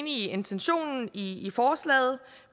i intentionen i forslaget